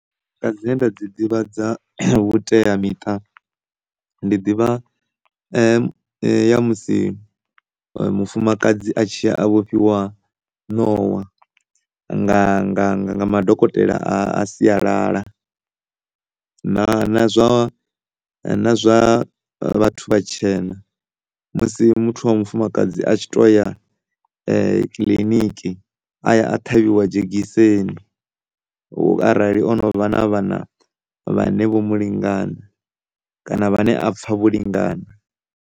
Dzine nda dzi ḓivha dza vhuteamiṱa ndi ḓivha ya ya musi mufumakadzi a tshi ya a vhofhiwa nowa nga, nga, nga madokotela a sialala na, na zwa, na zwa vhathu vhatshena, musi muthu wa mufumakadzi a tshi toya kiḽiniki a ṱhavhiwa dzhegiseni musi arali o no vha na vhana vhane vho mu lingana kana ane a pfha vho lingana.